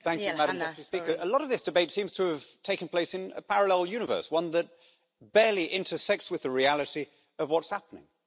Madam President, a lot of this debate seems to have taken place in a parallel universe, one that barely intersects with the reality of what's happening.